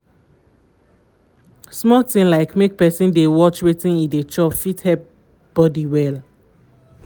small things like make person dey watch wetin e dey chop fit help body well